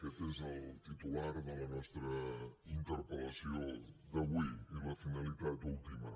aquest és el titular de la nostra interpel·lació d’avui i la finalitat última